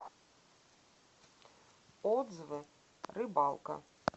отзывы рыбалка